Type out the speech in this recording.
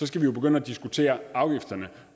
skal vi jo begynde at diskutere afgifterne